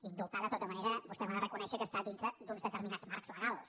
indultar de tota manera vostè m’ha de reconèixer que està dintre d’uns determinats marcs legals